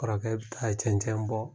Kɔrɔkɛ bɛ taa cɛncɛn bɔ.